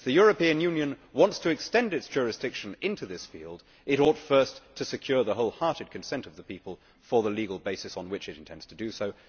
If the European Union wants to extend its jurisdiction into this field it ought first to secure the wholehearted consent of the people for the legal basis on which it intends to do so.